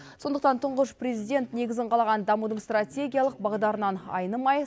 сондықтан тұңғыш президент негізін қалаған дамудың стратегиялық бағдарынан айнымай